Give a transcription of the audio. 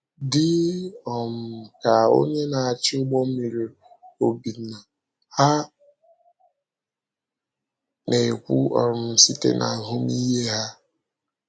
Dị um ka onye na-achị ụgbọ mmiri Obinna, ha na-ekwu um site n’ahụmịhe ha.